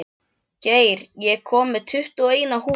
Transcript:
Geir, ég kom með tuttugu og eina húfur!